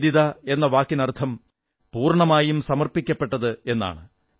നിവേദിത എന്ന വാക്കിനർഥം പൂർണ്ണമായും സമർപ്പിക്കപ്പെട്ടത് എന്നാണ്